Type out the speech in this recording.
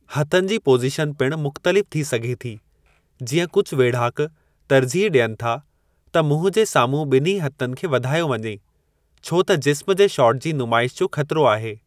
हथनि जी पोज़ीशन पिणु मुख़्तलिफ़ थी सघे थी जीअं कुझु वेढ़ाक तरजीह ॾियनि था त मुंहुं जे सामुहूं ॿिन्ही हथनि खे वधायो वञे छो त जिस्मु जे शॉट जी नुमाइश जो ख़तिरो आहे।